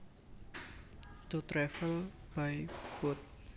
To travel by boat